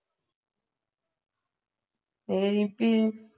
ਰੀਮਪੀ